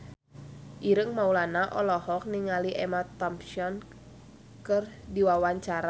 Ireng Maulana olohok ningali Emma Thompson keur diwawancara